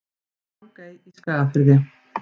Drangey í Skagafirði.